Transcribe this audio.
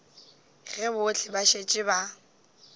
ge bohle ba šetše ba